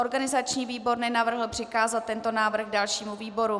Organizační výbor nenavrhl přikázat tento návrh dalšímu výboru.